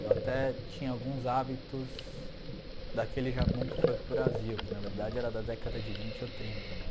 Eu até tinha alguns hábitos daquele Japão que foi para o Brasil, que na verdade era da década de vinte ou trinta, né?